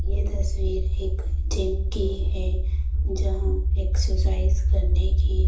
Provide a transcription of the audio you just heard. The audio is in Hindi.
ये तस्वीर एक जिम की है जहाँ एक्सरसाइज करने की--